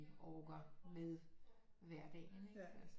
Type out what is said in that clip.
Orker med hverdagen ikke altså